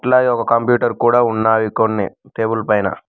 అలాగే ఒక కంప్యూటర్ కూడా ఉన్నాయి కొన్ని టేబుల్ పైన.